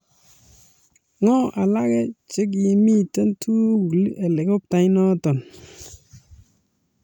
Ng'o alake che kimitei tugul Helikoptainoto?